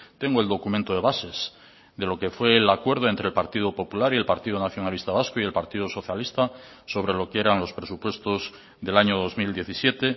tengo el documento de bases de lo que fue el acuerdo entre el partido popular y el partido nacionalista vasco y el partido socialista sobre lo que eran los presupuestos del año dos mil diecisiete